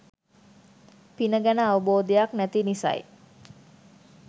පින ගැන අවබෝධයක් නැති නිසයි.